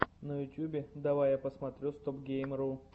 на ютьюбе давай я посмотрю стопгейм ру